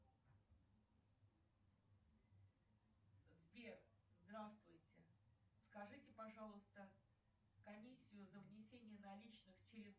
сбер здравствуйте скажите пожалуйста комиссию за внесение наличных через